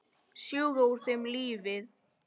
Sjúga úr þeim lífið.